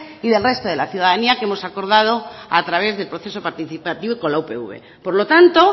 y del resto de la ciudadanía que hemos acordado a través del proceso participativo con la upv por lo tanto